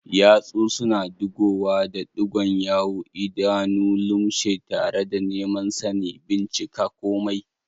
Yatsu suna digowa da ɗigon yawu, idanu lumshe tare da neman sani, bincika komai